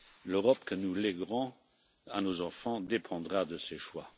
L'Europe que nous léguerons à nos enfants dépendra de ces choix.